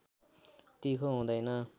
तिखो हुँदैन